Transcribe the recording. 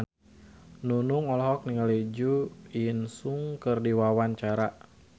Nunung olohok ningali Jo In Sung keur diwawancara